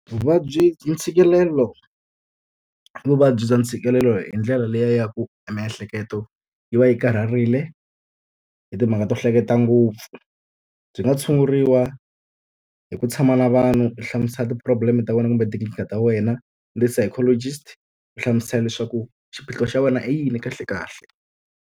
Vuvabyi ntshikelelo i vuvabyi bya ntshikelelo hi ndlela leyi ya ku e miehleketo yi va yi karihile hi timhaka to hleketa ngopfu. Byi nga tshunguriwa hi ku tshama na vanhu u hlamusela ti-problem-e ta wena kumbe tinkingha ta wena, ni ti-psychologist. U hlamusela leswaku xiphiqo xa wena i yini kahle kahle.